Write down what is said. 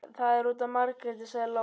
Það er út af Margréti, sagði Lóa.